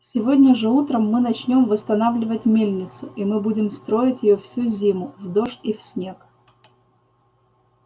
сегодня же утром мы начнём восстанавливать мельницу и мы будем строить её всю зиму в дождь и в снег